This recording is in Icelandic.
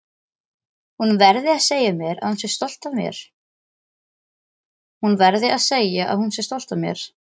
Hún verði að segja að hún sé stolt af mér.